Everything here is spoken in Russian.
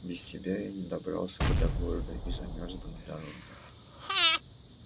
без тебя я не добрался бы до города и замёрз бы на дороге